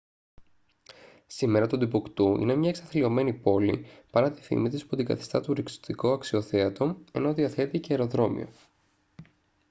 σήμερα το τιμπουκτού είναι μια εξαθλιωμένη πόλη παρά τη φήμη της που την καθιστά τουριστικό αξιοθέατο ενώ διαθέτει και αεροδρόμιο